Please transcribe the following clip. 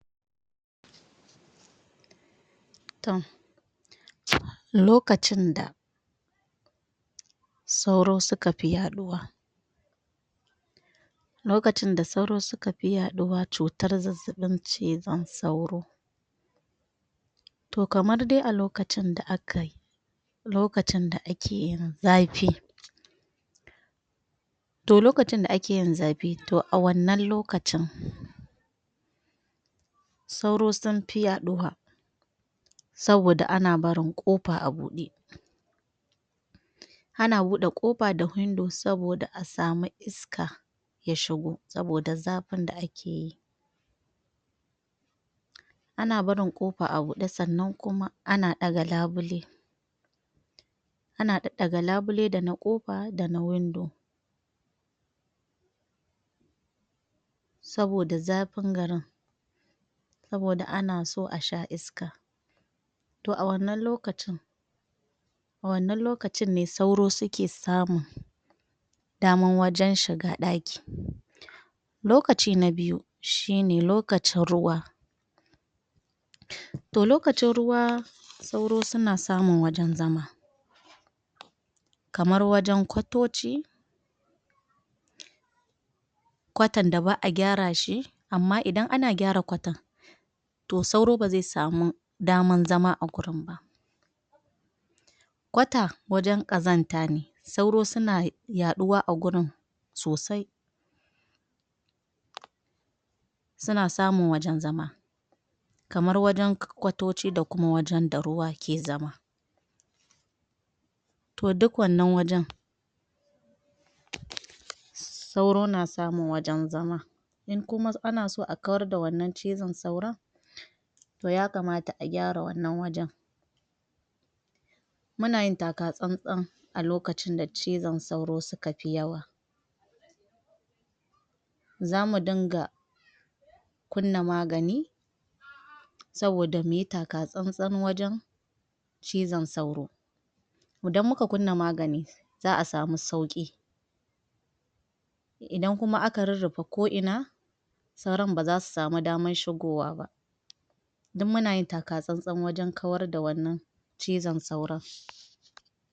Toh lokacin da sauro su ka fi yaɗowa lokacin da sauro su ka fi ɗadowa cutar zazaban cizan sauro Toh kamar dai a lokacin da a ka yi lokacin da a ke yin zafi toh lokacin da a ke yin zafi, toh a wannan lokacin sauro sun fi yaɗowa saboda a na barin kofa a bude a na bude kofa da wndows saboda a samu iska ya shigo, saboda zafin da a ke yi a na barin kofa a bude tsannan kuma a na daga labule. A na dadaga labule da na kofa, da na window. saboda zafin garin saboda a na so a sha iska toh a wannan lokacin a wannan lokacin ne sauro su ke samun daman wajen shiga a daki. Lokaci na biyu, shi ne lokacin ruwa toh lokacin ruwa sauro suna samun wajen zama kamar wajen kwatocci kwatan da baa gyara shi amma idan a na gyara kwatan toh sauro ba zai samu daman zama a gurin ba. Kwata waje kazanta ne sauro su na yaɗuwa a gurin sosai. su na samun wajen zama kamar wajen kwatocci da kuma wajen da ruwa ke zama toh duk wannan wajen sauro na samun wajen zama in kuma a na so a kar da wannan cizan sauron, toh ya kamata a gyara wannan wajen mu na yin takatsantsan a lokacin da cizan sauro su ka fi yawa zamu dinga kunna magani saboda mu yi takatsantsan wajen cizan sauro idan mu ka kunna magani, zaa samu sauki idan kuma a ka rurufa koina sauron ba za su sama daman shigowa ba duk muna yin takatsantsan wajen kar da wannan cizan sauron.